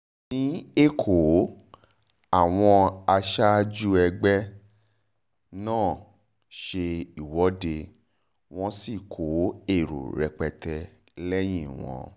ní ẹ̀kọ́ àwọn aṣáájú ẹgbẹ́ u epa náà ṣe ìwọ́de wọ́n sì kó èrò rẹpẹtẹ lẹ́yìn wọn